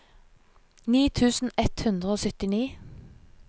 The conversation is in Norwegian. ni tusen ett hundre og syttini